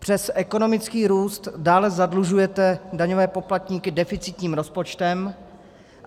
Přes ekonomický růst dále zadlužujete daňové poplatníky deficitním rozpočtem.